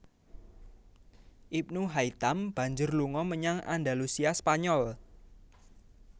Ibnu Haitam banjur lunga menyang Andalusia Spanyol